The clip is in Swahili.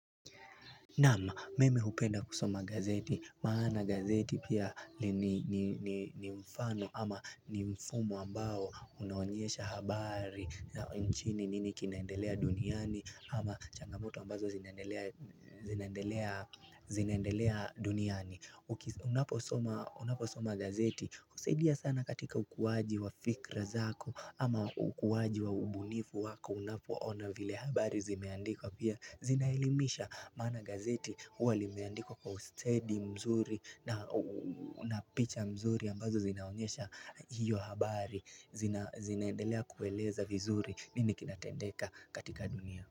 Naam mimi hupenda kusoma gazeti, maana gazeti pia ni mfano ama ni mfumo ambao unaonyesha habari na nchini nini kinaendelea duniani ama changamoto ambazo zinaendelea duniani Unaposoma gazeti, husaidia sana katika ukuwaji wa fikra zako ama ukuwaji wa ubunifu wako unapoona vile habari zimeandikwa pia zina elimisha maana gazeti huwa limeandikwa kwa ustedi mzuri na una picha mzuri ambazo zinaonyesha hiyo habari zinaendelea kueleza vizuri nini kinatendeka katika dunia.